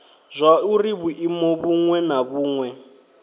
zwauri vhuimo vhuṅwe na vhuṅwe